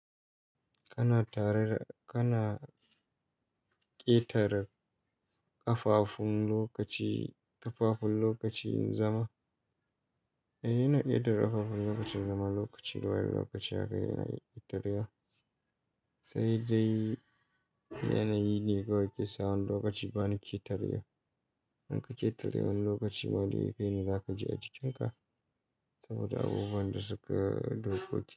Kana tare da--kana ƙetare kafafun lokaci--kafafun lokacin zama. Yana ƙetare kafafun lokacin zama, lokaci da wani lokaci haka yana ƙetarewa. Sai dai yanayi ne kawai ke sa wani lokaci ba ni ketarewa. In ka ƙetare wani lokaci ma dai kaine za ka ji a jikin ka. Saboda abubuwan da suka dokoki.